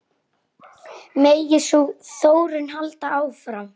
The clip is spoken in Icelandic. Megi sú þróun halda áfram.